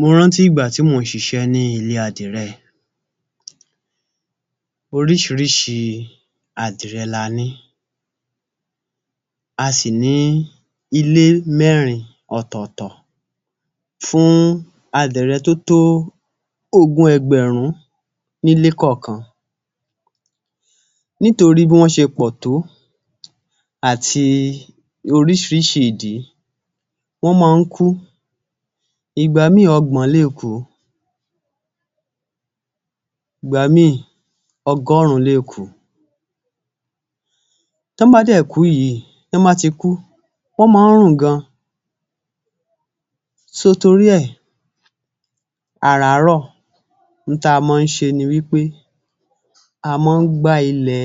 Mo rántí ìgbà tí mò ń ṣiṣẹ́ ní ilé adìrẹ, oríṣìíríṣìí adìrẹ la ní. A sì ní ilé mẹ́rin ọ̀tọ̀ọ̀tọ̀ fún adìrẹ tó tó ogún ẹgbẹ̀rún nílé kọ̀ọ̀kan. Nítorí bí wọ́n ṣe pọ̀ tó, àti oríṣìíríṣìí ìdí, wọ́n mọ́ ọn ń kú. Ìgbà míì, ogbọ̀n lè kú. Ìgbà míì ọgọ́rùn-ún lè kú. Tán bá dẹ̀ kú yìí, tán bá ti kú, wọ́n mọ́ ọn ń rùn gan-an. So torí ẹ̀, àràárọ̀ ń táa mọ ń ṣe ni wí pé, a mọ ń gbá ilẹ̀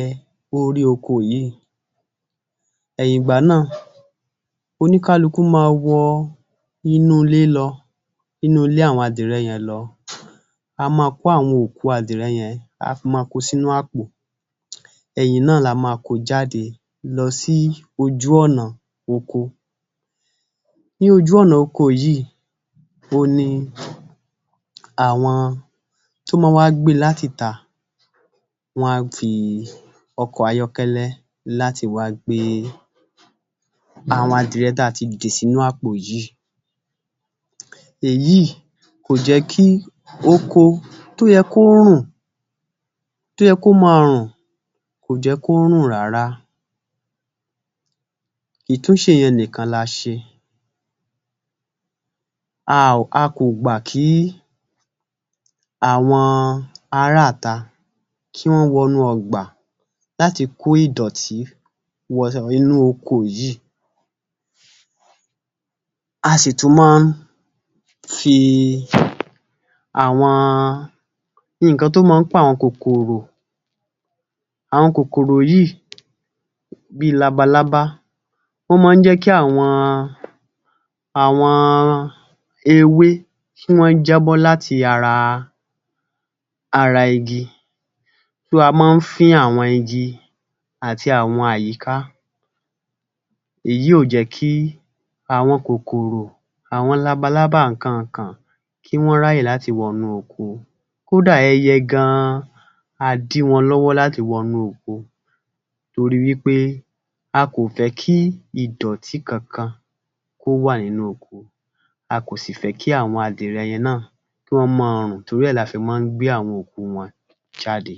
orí oko yìí. Ẹ̀yìn ìgbà náà oníkálukú ma wọ inú ilé lọ, inú ilé àwọn adìrẹ yẹn lọ, a máa kó àwọn òkú adìrẹ yẹn, a máa kóo sínú àpò. Ẹ̀yìn náà la máa kóo jáde lọ sí ojú ọ̀nà oko. Ní ojú ọ̀nà oko yìí, òhun ni àwọn tó mọ ń wá gbé e láti ìta wọ́n á fi ọkọ̀ ayọ́kẹ́lẹ́ láti wá gbé àwọn adìrẹ táa ti dì sínú àpò yìí. Èyí kò jẹ́ kí oko tó yẹ kó rùn, tó yẹ kó máa rùn, kò jẹ kó rùn rárá. Ìtúnṣe yẹn nìkan la ṣe, a ò, a kò gbà kí àwọn aráàta kí wọ́n wọnú ọgbà láti kó ìdọ̀tí wọ inú oko yìí. A sì tún máa ń fi àwọn nǹkan tó máa ń pàwọn kòkòrò, àwọn kòkòrò yìí, bíi labalábá wọ́n mọ́ ń jẹ́ kí àwọn àwọn ewé tí wọ́n ń jábọ́ láti ara ara igi. Thou a mọ́ fín àwọn igi àti àwọn àyíká. Èyí ò jẹ́ kí àwọn kòkòrò, àwọn labalábá nǹkan kàn kí wọ́n ráyè láti wọnú oko. Kódà ẹyẹ gan-an, a dí wọn lọ́wọ́ láti wọnú oko. Torí wí pé a kò fẹ́ kí ìdọ̀tí kankan kó wà nínú oko, a kò sí fẹ́ kí àwọn adìrẹ yẹn náà kí wọ́n mọ́ ọn rùn torí ẹ̀ la fi mọ́ ń gbé àwọn òkú wọn jáde.